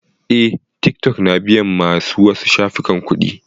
Eh, tiktok na biyan ma su wasu shafukan kuɗi.